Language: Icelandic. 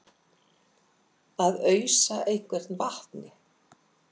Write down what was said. Að ausa einhvern vatni